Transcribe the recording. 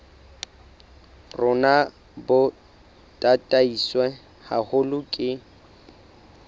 rona bo tataiswe haholo ke